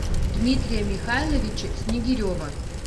дмитрия михайловича снегирева